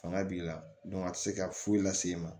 Fanga b'i la a tɛ se ka foyi lase e ma